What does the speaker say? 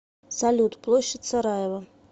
салют площадь сараево